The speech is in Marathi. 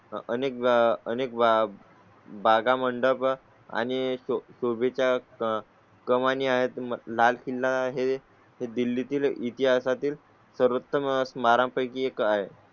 अनेक अनेक बागा, मंडप आणि तू भी च्या कमानी आहेत. लाल किल्ला हे दिल्ली तील इतिहासा तील सर्वोत्तम बारा पैकी एक आहे.